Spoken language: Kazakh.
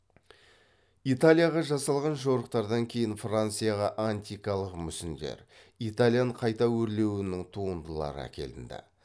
италияға жасалған жорықтардан кейін францияға антикалық мүсіндер итальян қайта өрлеуінің туындылары әкелінді